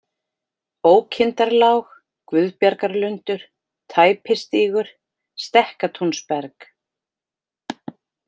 Ókindarlág, Guðbjargarlundur, Tæpistígur, Stekkatúnsberg